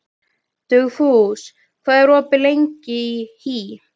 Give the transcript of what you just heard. Dugfús, hvað er opið lengi í HÍ?